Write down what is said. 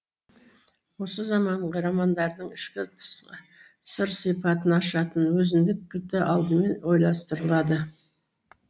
осы заманғы романдардың ішкі тысқы сыр сипатын ашатын өзіндік кілті алдымен ойластырылады